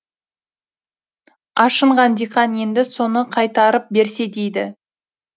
ашынған диқан енді соны қайтарып берсе дейді